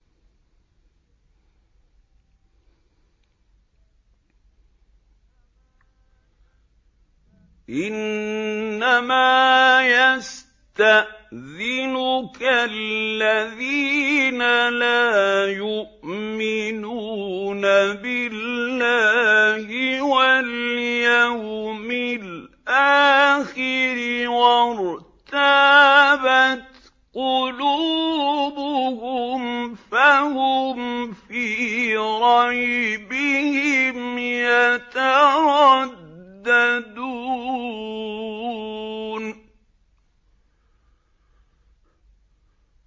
إِنَّمَا يَسْتَأْذِنُكَ الَّذِينَ لَا يُؤْمِنُونَ بِاللَّهِ وَالْيَوْمِ الْآخِرِ وَارْتَابَتْ قُلُوبُهُمْ فَهُمْ فِي رَيْبِهِمْ يَتَرَدَّدُونَ